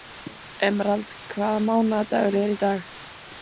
Emerald, hvaða mánaðardagur er í dag?